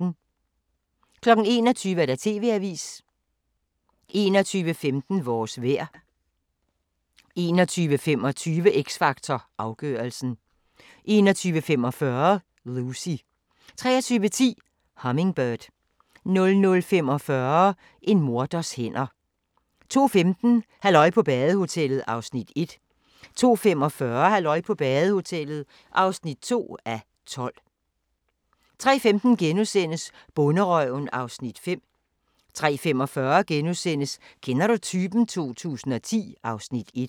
21:00: TV-avisen 21:15: Vores vejr 21:25: X Factor Afgørelsen 21:45: Lucy 23:10: Hummingbird 00:45: En morders hænder 02:15: Halløj på badehotellet (1:12) 02:45: Halløj på badehotellet (2:12) 03:15: Bonderøven (Afs. 5)* 03:45: Kender du typen? 2010 (Afs. 1)*